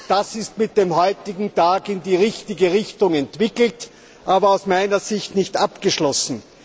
Das ist mit dem heutigen Tag in die richtige Richtung entwickelt, aber aus meiner Sicht nicht abgeschlossen.